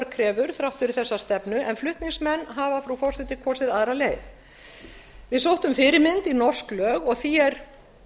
krefur þrátt fyrir þessa stefnu en flutningsmenn hafa kosið aðra leið við sóttum fyrirmynd í norsk lög og því er